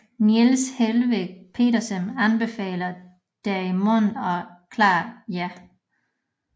Niels Helveg Petersen anbefalede derimod et klart ja